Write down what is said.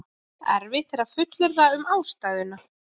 erfitt er að fullyrða um ástæðuna